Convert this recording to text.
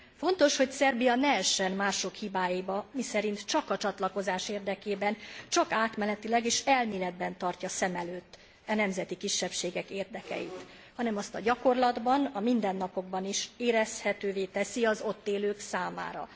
Fontos, hogy Szerbia ne essen mások hibáiba, miszerint csak a csatlakozás érdekében, csak átmenetileg és elméletben tartja szem előtt e nemzeti kisebbségek érdekeit, hanem azt a gyakorlatban, a mindennapokban is érezhetővé teszi az ott élők számára.